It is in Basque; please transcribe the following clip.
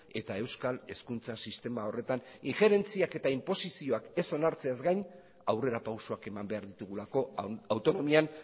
eta euskal hezkuntza sistema horretan injerentziak eta inposizioak ez onartzeaz gain aurrera pausoak eman behar ditugulako autonomian